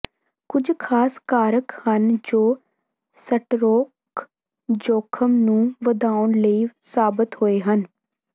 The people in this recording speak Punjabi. ਕੁਝ ਖਾਸ ਕਾਰਕ ਹਨ ਜੋ ਸਟਰੋਕ ਜੋਖਮ ਨੂੰ ਵਧਾਉਣ ਲਈ ਸਾਬਤ ਹੋਏ ਹਨ